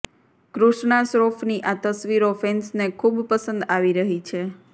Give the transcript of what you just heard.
કૃષ્ણા શ્રોફની આ તસવીરો ફેન્સને ખૂબ પસંદ આવી રહી છે